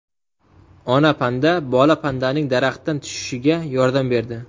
Ona panda bola pandaning daraxtdan tushishiga yordam berdi.